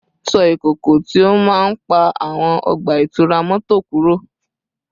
Ṣọ́ ìkọ̀kọ̀ tí ó máa ń pa àwọn ọgbà ìtura mọ́tò kúrò